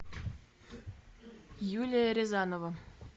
юлия рязанова